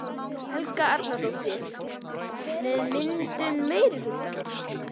Helga Arnardóttir: með myndun meirihlutans?